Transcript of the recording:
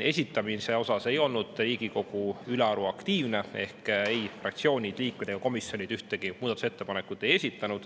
esitamisel ei olnud Riigikogu ülearu aktiivne ehk ei fraktsioonid, liikmed ega komisjonid ühtegi muudatusettepanekut ei esitanud.